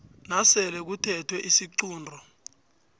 nasele kuthethwe isiqunto